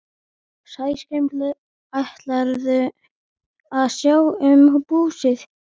Sæskrímslin ætluðu að sjá um búsið.